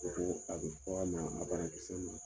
Ko a bi f'a ma a banakisɛ ma